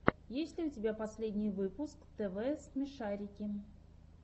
есть ли у тебя последний выпуск тв смешарики